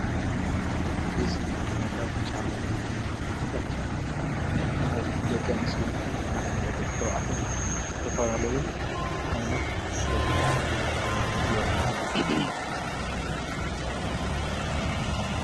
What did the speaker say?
እዙ ዓይነታት ጫማ ይኡ ኣይንዳት ጫማ ዝኻ ናይ ደቀንስዶ እና ናይ ደቕተው ኣቴሕ ዝተፈራለዩ ዓይነት ደብሮም ጨማታት እዮም።